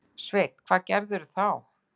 Sveinn: Hvað gerirðu þá?